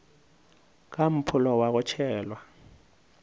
ka mpholo wa go tšhelwa